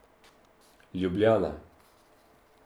Ljubljana.